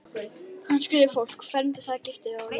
Hann skírði fólk, fermdi það, gifti og jarðsöng.